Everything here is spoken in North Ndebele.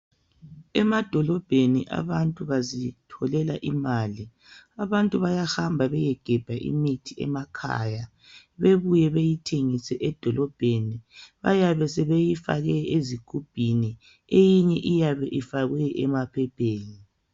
Emadolobheni abantu bazitholela imali. Abantu bayahamba beyegebha imithi emakhaya bebuye beyithengise edolobheni. Bayabe sebeyifake ezigubhini eyinye iyabe ifakwe emaphepheni.